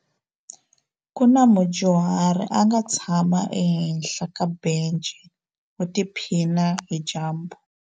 Ku na mudyuhari a nga tshama ehenhla ka bence u tiphina hi dyambu.